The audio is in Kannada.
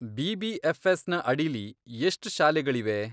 ಬಿ.ಬಿ.ಎಫ್.ಎಸ್.ನ ಅಡಿಲಿ ಎಷ್ಟ್ ಶಾಲೆಗಳಿವೆ?